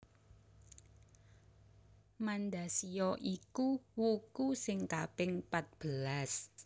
Mandasiya iku wuku sing kaping patbelas